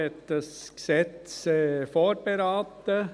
Die FiKo hat dieses Gesetz vorberaten.